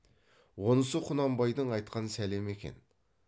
онысы құнанбайдың айтқан сәлемі екен